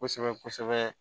Kosɛbɛ kosɛbɛ